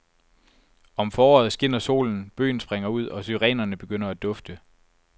Om foråret skinner solen, bøgen springer ud og syrenerne begynder at dufte.